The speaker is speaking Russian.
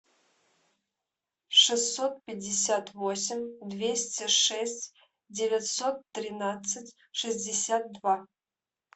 шестьсот пятьдесят восемь двести шесть девятьсот тринадцать шестьдесят два